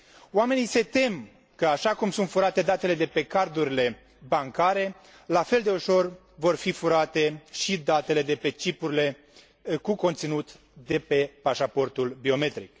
Oamenii se tem că așa cum sunt furate datele de pe cardurile bancare, la fel de ușor vor fi furate și datele de pe cipurile cu conținut de pe pașaportul biometric.